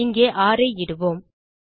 இங்கே ர் ஐ இடுவோம்